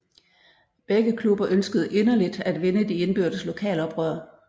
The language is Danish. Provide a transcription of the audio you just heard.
Begge klubber ønskede inderligt at vinde de indbyrdes lokalopgør